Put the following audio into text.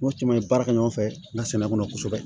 N'o caman ye baara kɛ ɲɔgɔn fɛ n ka sɛnɛ kɔnɔ kosɛbɛ